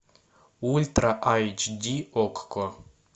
ультра айч ди окко